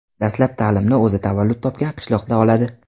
Dastlab ta’limni o‘zi tavallud topgan qishloqda oladi.